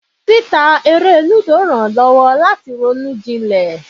Títa eré lúdò rán lowo lati ronú jilè.